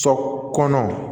Sɔ kɔnɔ